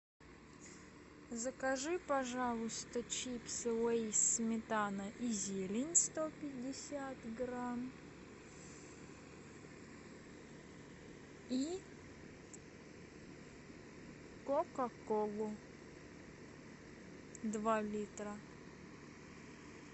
закажи пожалуйста чипсы лейс сметана и зелень сто пятьдесят грамм и кока колу два литра